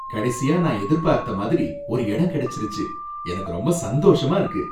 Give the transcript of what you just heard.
கடைசியா நான் எதிர்பார்த்த மாதிரி ஒரு எடம் கிடைச்சுருச்சு, எனக்கு ரொம்ப சந்தோஷமா இருக்கு.